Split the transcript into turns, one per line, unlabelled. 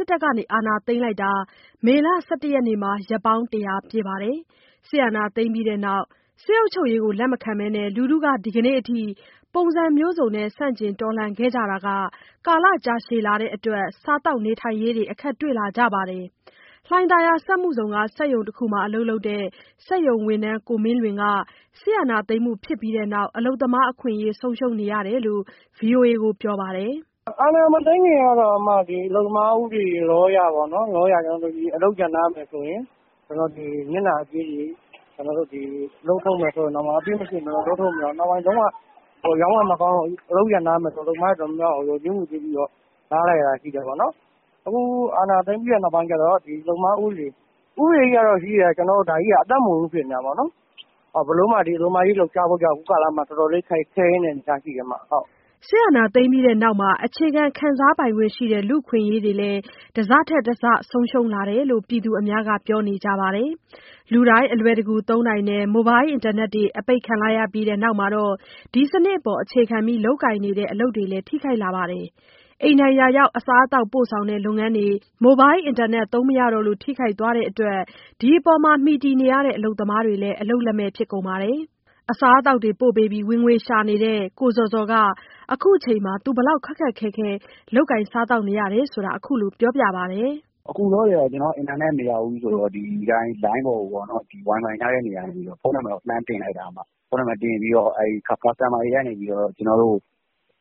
စ်တပ်က အာဏာသိမ်းလိုက်တာ မေလ ၁၁ ရက်နေ့မှာ ရက်ပေါင်း ၁၀၀ ပြည့်ပါတယ်။ စစ်အာဏာသိမ်းပြီးနောက် စစ်အုပ်ချုပ်ရေးကို လက်မခံဘဲ ဒီကနေ့အထိ ပုံစံမျိုးစုံနဲ့ ဆန့်ကျင်လာခဲ့ကြတာ ကာလကြာရှည်လာတဲ့အတွက် စားသောက်နေထိုင်ရေးမှာလည်း အခက်တွေ့လာကြပါတယ်။ လှိုင်သာယာ စက်မှုဇုန်က စက်ရုံတခုမှာ အလုပ်လုပ်နေတဲ့ စက်ရုံဝန်ထမ်း ကိုမင်းလွင်က စစ်အာဏာသိမ်းမှုဖြစ်ပြီးနောက် အလုပ်သမားအခွင့်အရေး ဆုံးရှုံးနေတာကို ဗွီအိုအေကိုပြောပါတယ်။
“အာဏာမသိမ်းခင်တုန်းကတော့ အလုပ်သမားဥပဒေအရ အလုပ်ရပ်နားမယ်ဆိုရင် နစ်နာကြေးတွေ၊ အလုပ်ထုတ်မယ်ဆိုရင်တောင်မှ... နောက်ဆုံး အလုပ်တွေ မကောင်းလို့ ရပ်နားမယ်ဆိုရင်တောင်မှ အလုပ်သမားတွေ အကုန်လုံးကို လျော်ကြေးငွေပေးပြီးတော့ နားလိုက်ရတာ ရှိတယ်ပေါ့နော်။ အခု အာဏာသိမ်းပြီးတဲ့ နောက်ပိုင်းကျတော့ ဒီအလုပ်သမားဥပဒေကြီးက ရှိပြီးတော့ အသက်မဝင်ဘူး ဖြစ်နေတာပေါ့နော်။ ဘယ်လိုမှ အလုပ်သမားအရေးလှုပ်ရှားဖို့ဆိုတာ အခုကာလမှာ တော်တော်လေးခဲယဉ်းတဲ့ အနေအထားရှိတယ်ဗျ။
”
အာဏာသိမ်းပြီးတဲ့နောက်မှာ အခြေခံ ခံစားပိုင်ခွင့်ရှိတဲ့ လူ့အခွင့်အရေးတွေလည်း တစထက်တစ ဆုံးရှုံးလာတယ်လို့ ပြည်သူအများက ပြောနေကြပါတယ်။ လူတိုင်းအလွယ်တကူ သုံးနိုင်တဲ့ မိုဘိုင်းလ်အင်တာနက်တွေ အပိတ်ခံလိုက်ရတဲ့နောက်မှာတော့ ဒီစနစ်ပေါ်အခြေခံပြီး လုပ်ကိုင်နေတဲ့ အလုပ်တွေမှာပါ ထိခိုက်မှုရှိလာပါတယ်။ အိမ်တိုင်ရာရောက် အစားအသောက်ပို့ဆောင်တဲ့ လုပ်ငန်းတွေ မိုဘိုင်းလ်အင်တာနက်သုံးမရတော့လို့ ထိခိုက်သွားတဲ့အတွက် အဲဒီအပေါ်ကို မှီခိုနေကြတဲ့ အလုပ်သမားတွေလည်း အလုပ်လက်မဲ့ဖြစ်လာပါတယ်။ အစားအသောက်တွေပို့ပေးပြီး ဝင်ငွေရှာနေတဲ့ ကိုဇော်ဇော်က အခုအချိန်မှာ ဘယ်လောက် ခက်ခက်ခဲခဲလုပ်နေရတယ်ဆိုတာ ခုလိုပြောပြပါတယ်။
“အခုလောလောဆယ်ကတော့ ကျနော်က အင်တာနက်မရဘူးဆိုတော့ လိုင်းပေါ်ကို ဝိုင်ဖိုင်ရတဲ့နေရာကနေပြီးတော့ ဖုန်းနံပါတ်တင်ပြီးတော့ မုန့်မှာတဲ့သူတွေက ကျနော်တို့ကို